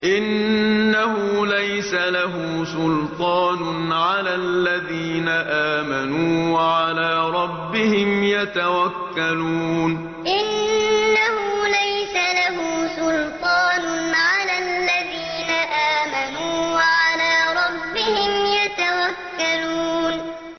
إِنَّهُ لَيْسَ لَهُ سُلْطَانٌ عَلَى الَّذِينَ آمَنُوا وَعَلَىٰ رَبِّهِمْ يَتَوَكَّلُونَ إِنَّهُ لَيْسَ لَهُ سُلْطَانٌ عَلَى الَّذِينَ آمَنُوا وَعَلَىٰ رَبِّهِمْ يَتَوَكَّلُونَ